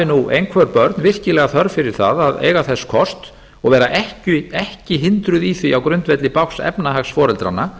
nú einhver börn virkilega þörf fyrir það að eiga þess kost og vera ekki hindruð í því á grundvelli bágs efnahags foreldranna